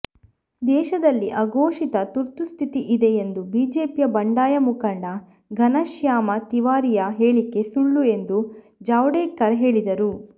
ದೇಶದಲ್ಲಿ ಅಘೋಷಿತ ತುರ್ತುಸ್ಥಿತಿ ಇದೆ ಎಂದು ಬಿಜೆಪಿಯ ಬಂಡಾಯ ಮುಖಂಡ ಘನಶ್ಯಾಮ ತಿವಾರಿಯ ಹೇಳಿಕೆ ಸುಳ್ಳು ಎಂದು ಜಾವಡೇಕರ್ ಹೇಳಿದರು